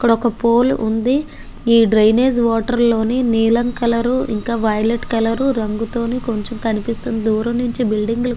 ఇక్కడ ఒక పోల్ ఉంది. ఈ డ్రైనేజ్ వాటర్ లోని నీలం కలరు ఇంకా వైలట్ కలరు రంగుతోని కొంచెం కనిపిస్తుంది. దూరం నుంచి ఒక బిల్డింగ్ ఉంది.